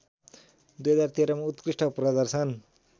२०१३ मा उत्कृष्ट प्रदर्शन